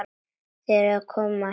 Þér kom það ekkert við!